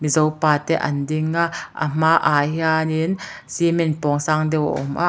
zopa te an ding a a hmaah hianin cement pawng sang deuh a awm a--